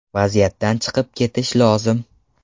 Vaziyatdan chiqib ketish lozim.